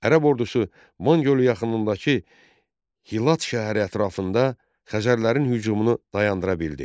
Ərəb ordusu Van gölü yaxınlığındakı Hilat şəhəri ətrafında Xəzərlərin hücumunu dayandıra bildi.